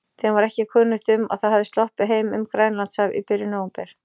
Þeim var ekki kunnugt um, að það hafði sloppið heim um Grænlandshaf í byrjun nóvember.